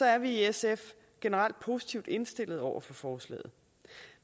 er vi i sf generelt positivt indstillet over for forslaget